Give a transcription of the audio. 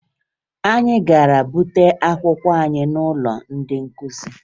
Anyị gara bute akwụkwọ anyị n'ụlọ ndị nkụzi